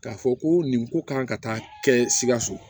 K'a fɔ ko nin ko kan ka taa kɛ sikaso